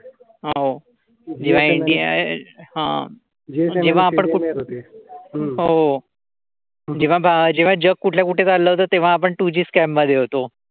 जेव्हा जग कुठल्या कुठे चाललं होतं. तेव्ह, आपण टूजी स्क्याम्ब मध्ये होतो.